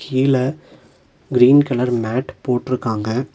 கீழ green colour mat போட்ருக்காங்க.